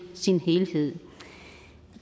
sin helhed